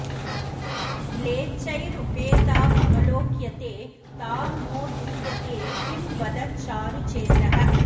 म्लेच्छैरुपेतामवलोक्यते तां नो दूयते किं वद चारु चेतः